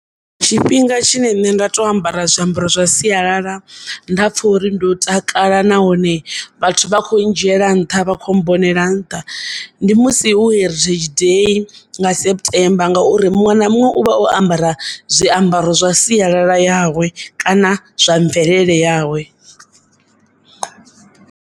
Tshifhinga tshine nṋe nda to ambara zwiambaro zwa sialala nda pfha uri ndo takala nahone vhathu vha kho ndzhiela nṱha vha kho mmbonela nṱha ndi musi hu heritage day nga September ngauri muṅwe na muṅwe u vha o ambara zwiambaro zwa sialala yawe kana zwa mvelele yawe.